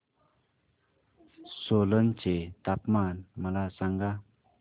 सोलन चे तापमान मला सांगा